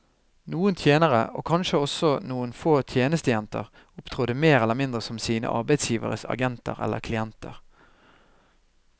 Noen tjenere, og kanskje også noen få tjenestejenter, opptrådte mer eller mindre som sine arbeidsgiveres agenter eller klienter.